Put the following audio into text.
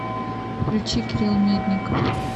включи кирилл медников